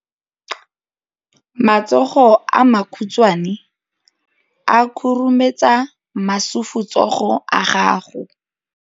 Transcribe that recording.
Matsogo a makhutshwane a khurumetsa masufutsogo a gago.